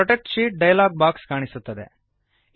protect sheet dialog box ಕಾಣಿಸುತ್ತದೆ